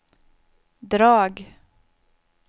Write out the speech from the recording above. drag